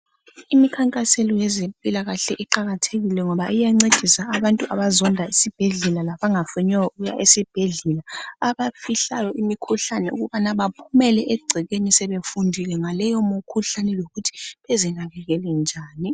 Imikhankaso yezempilakahle iqakathekile ngoba iyancedisa abantu abazonda isibhedlela labangafuniyo ukuya esibhedlela abafihlayo imikhuhlane ukubana baphumele egcekeni sebefundile ngaleyo mikhuhlane yokuthi bezinakekele nini.